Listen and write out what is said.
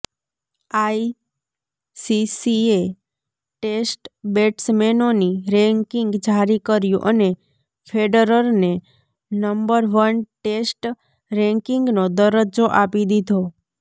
આઈસીસીએ test બેટ્સમેનોની ranking જારી કર્યું અને ફેડરરને નંબર વન ટેસ્ટ રેન્કિંગનો દરજ્જો આપી દીધો